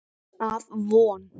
Af Von